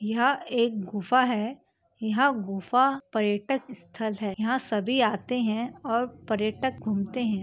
यह एक गुफा है यह गुफा पर्यटक स्थल है यहां सभी आते हैं और पर्यटक घूमते हैं।